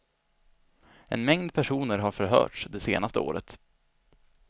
En mängd personer har förhörts det senaste året.